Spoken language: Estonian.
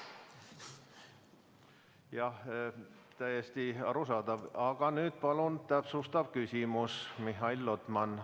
Jah, täiesti arusaadav, aga nüüd palun täpsustav küsimus, Mihhail Lotman.